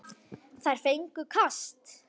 Þeir fengju kast!